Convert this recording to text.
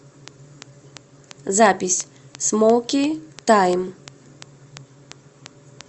запись смоки тайм